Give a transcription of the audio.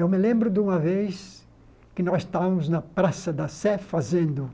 Eu me lembro de uma vez que nós estávamos na Praça da Sé fazendo